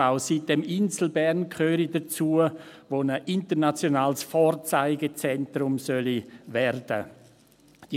auch sitem-insel Bern gehöre dazu, das ein internationales Vorzeigezentrum werden solle.